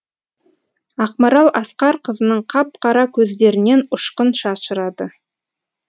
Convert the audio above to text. ақмарал асқарқызының қап қара көздерінен ұшқын шашырады